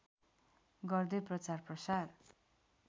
गर्दै प्रचारप्रसार